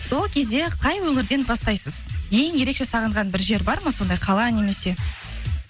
сол кезде қай өңірден бастайсыз ең ерекше сағынған бір жер бар ма сондай қала немесе